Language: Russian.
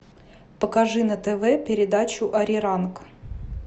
покажи на тв передачу ариранг